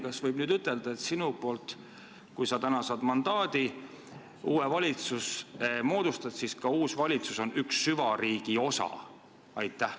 Kas võib nüüd ütelda, et kui sa täna saad mandaadi ja moodustad uue valitsuse, siis kas uus valitsus on süvariigi osa?